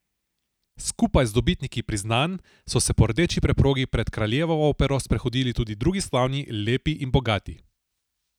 Skupaj z dobitniki priznanj so se po rdeči preprogi pred Kraljevo opero sprehodili tudi drugi slavni, lepi in bogati.